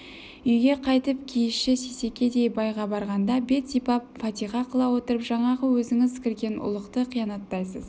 үйге қайтып киізші сейсекедей байға барғанда бет сипап фатиқа қыла отырып жаңағы өзіңіз кірген ұлықты қиянаттайсыз